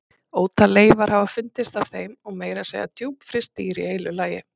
Ótal leifar hafa fundist af þeim og meira að segja djúpfryst dýr í heilu lagi.